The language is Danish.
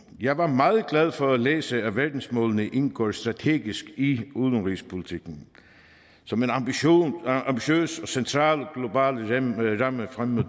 jeg var meget glad for at læse at verdensmålene indgår strategisk i udenrigspolitikken som en ambitiøs og central global ramme frem mod